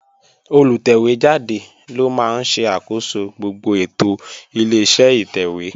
Olùtẹ̀wé jáde ló máa ń ṣe àkóso gbogbo ètò Ileṣẹ́ ìtẹ̀wé